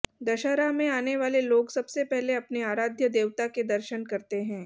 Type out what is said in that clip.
दशहरा में आने वाले लोग सबसे पहले अपने आराध्य देवता के दर्शन करते हैं